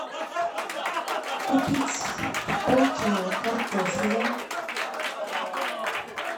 купить полкило картофеля